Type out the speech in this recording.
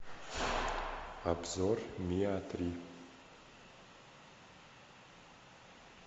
обзор миа три